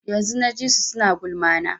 Yanzun na ji su suna gulma na